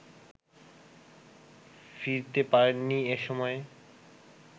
ফিরতে পারেননি এ সময়ে